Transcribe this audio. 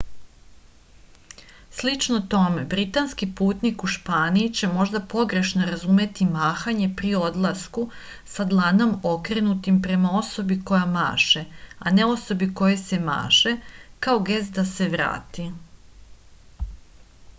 слично томе британски путник у шпанији ће можда погрешно разумети махање при одласку са дланом окренутим према особи која маше а не особи којој се маше као гест да се врати